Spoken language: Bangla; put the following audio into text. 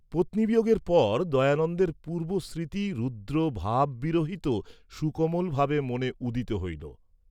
পত্নী বিয়ােগের পর দয়ানন্দের পূর্ব্বস্মৃতি রুদ্রভাববিরহিত সুকোমল ভাবে মনে উদিত হইল।